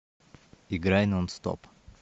играй нонстоп